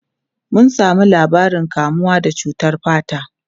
Mun samu labarin kamuwa da cutar fata.